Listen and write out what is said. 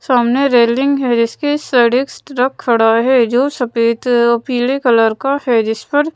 सामने रैलिंग हैं जिसके इस साइड एक ट्रक खड़ा हैं जो सफेद पीले कलर का हैं जिस पर--